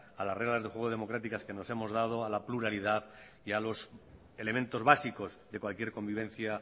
a las reglas de juego democráticas que nos hemos dado a la pluralidad y a los elementos básicos de cualquier convivencia